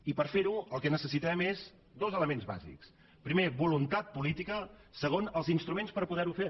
i per fer ho el que necessitem són dos elements bàsics primer voluntat política segon els instruments per poder ho fer